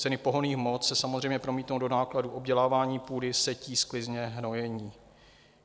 Ceny pohonných hmot se samozřejmě promítnou do nákladů obdělávání půdy, setí, sklizně, hnojení.